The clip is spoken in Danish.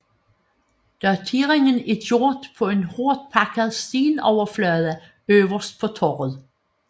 Dateringen er gjort på en hårdtpakket stenoverflade øverst på torvet